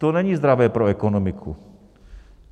To není zdravé pro ekonomiku.